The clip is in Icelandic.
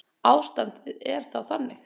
Ástandið er þá þannig